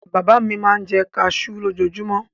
Bàbá mi máa ń jẹ kaṣú lójoojúmọ́.